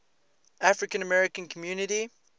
african american community